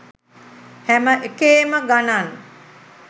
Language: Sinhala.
හැම එකේම ගණන්